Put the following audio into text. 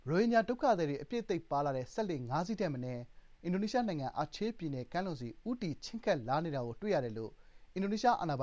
ရိုဟင်ဂျာ ဒုက္ခသည်တွေ အပြည့်အသိပ်ပါတဲ့ စက်လှေ ၅ စီးထက်မနည်း အင်ဒိုနီးရှားနိုင်ငံ၊ အာချေးပြည်နယ် ကမ်းလွန်ဆီ ဦးတည် ချဥ်းကပ်လာနေတာကို တွေ့ရတယ်လို့ အင်ဒိုနီးရှား အာဏာပိ